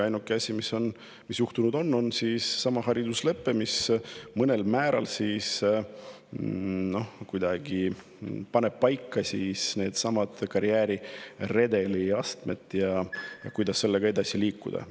Ainuke asi, mis juhtunud on, on seesama hariduslepe, mis mingil määral paneb paika needsamad karjääriredeli astmed ja selle, kuidas sellega edasi liikuda.